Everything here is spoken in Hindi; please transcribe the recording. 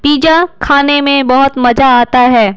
पिज्जा खाने में बहुत मजा आता है।